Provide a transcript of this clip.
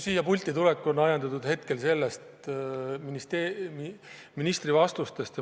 Siia pulti ajendasid mind tulema ministri vastused.